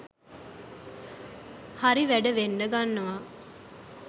හරි වැඩ වෙන්ඩ ගන්නවා